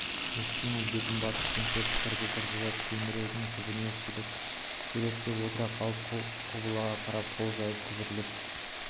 мұхсина бетін басып теңселіп тұрды-тұрды да тіреудің түбіне шөкелеп отыра қалып құбылаға қарап қол жайып күбірлеп